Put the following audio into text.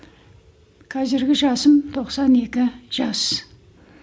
қазіргі жасым тоқсан екі жас